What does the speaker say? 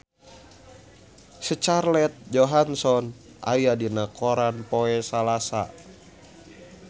Scarlett Johansson aya dina koran poe Salasa